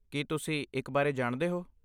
ਕੀ ਤੁਸੀਂ ਇੱਕ ਬਾਰੇ ਜਾਣਦੇ ਹੋ?